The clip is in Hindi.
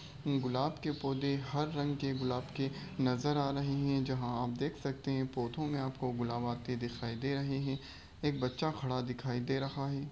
गुलाब के पौधे हर रंग के गुलाब के नजर आ रहे है जहां आप देख सकते है पौधों में आपको गुलाब आते दिखाई दे रहे हैं एक बच्चा खड़ा दिखाई दे रहा है।